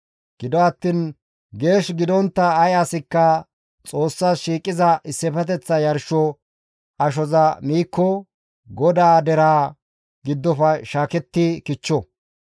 Gido attiin geesh gidontta ay asikka Xoossas shiiqiza issifeteththa yarsho ashoza miikko GODAA deraa giddofe shaaketti kichcho.